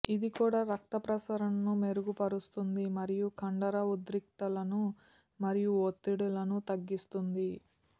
ఇది కూడా రక్త ప్రసరణను మెరుగుపరుస్తుంది మరియు కండర ఉద్రిక్తతలను మరియు ఒత్తిడులను తగ్గిస్తుంది